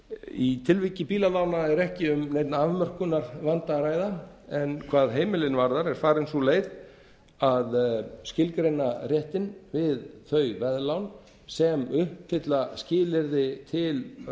í tilviki bílalána er ekki um neinn afmörkunarvanda að ræða en hvað heimilin varðar er farin sú leið að skilgreina réttinn við þau veðlán sem uppfylla skilyrði til